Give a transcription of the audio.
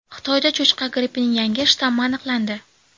Xitoyda cho‘chqa grippining yangi shtammi aniqlandi.